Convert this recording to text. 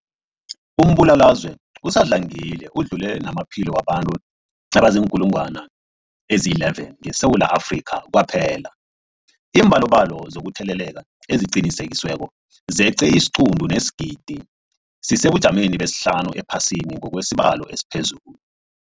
Umbulalazwe usadlangile udlule namaphilo wabantu abaziinkulungwana ezi-11 ngeSewula Afrika kwaphela. Iimbalobalo zokutheleleka eziqinisekisiweko zeqe isiquntu sesigidi, sisesebujameni besihlanu ephasini ngokwesibalo esiphezulu.